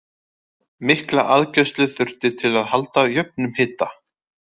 Mikla aðgæslu þurfti til að halda jöfnum hita.